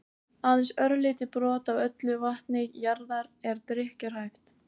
aðeins örlítið brot af öllu vatni jarðar er drykkjarhæft